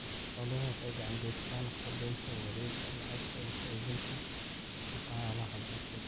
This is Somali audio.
Xooluhu waxay gacan ka geystaan ??kordhinta wareegga lacagta iyo xoojinta dhaqaalaha bulshada.